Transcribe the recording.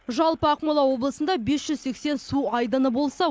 жалпы ақмола облысында бес жүз сексен су айдыны болса